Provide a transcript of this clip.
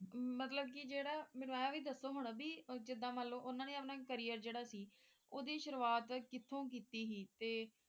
ਮਤਲਬ ਕਿ ਮੈਨੂੰ ਇਹ ਵੀ ਦੱਸੋ ਹੁਣ ਵੀ ਜਿੱਦਾਂ ਮਨ ਲਾਓ ਉਨ੍ਹਾਂ ਨੇ ਅਪਨਾ career ਜਿਹੜਾ ਸੀ ਓਹਦੀ ਸ਼ੁਰੂਆਤ ਕਿੱਥੋਂ ਕੀਤੀ ਸੀ?